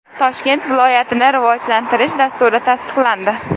Toshkent viloyatini rivojlantirish dasturi tasdiqlandi.